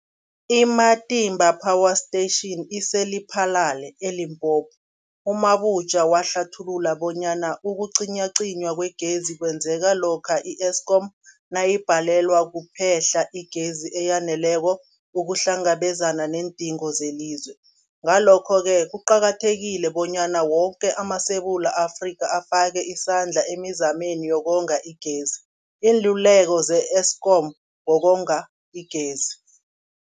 I-Matimba Power Station ise-Lephalale, eLimpopo. U-Mabotja wahlathulula bonyana ukucinywacinywa kwegezi kwenzeka lokha i-Eskom nayibhalelwa kuphe-hla igezi eyaneleko ukuhlangabezana neendingo zelizwe. Ngalokho-ke kuqakathekile bonyana woke amaSewula Afrika afake isandla emizameni yokonga igezi. Iinluleko ze-Eskom ngokonga igezi.